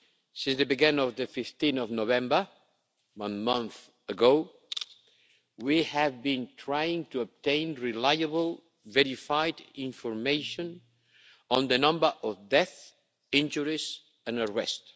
Since they began on 15 November, one month ago, we have been trying to obtain reliable verified information on the number of deaths, injuries and arrest.